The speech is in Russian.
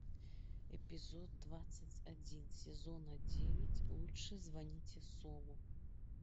эпизод двадцать один сезона девять лучше звоните солу